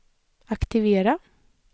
aktivera